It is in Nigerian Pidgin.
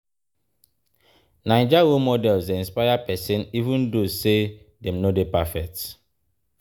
Naija role models dey inspire pesin even though say dem no dey perfect.